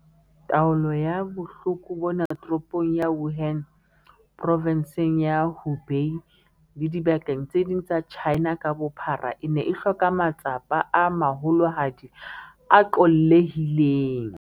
Taolo ya bohloko bona Toropong ya Wuhan, Provenseng ya Hubei le dibakeng tse ding tsa China ka bophara, e ne e hloka matsapa a maholohadi a qollehileng.